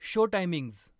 show timings